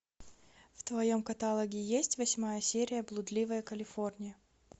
в твоем каталоге есть восьмая серия блудливая калифорния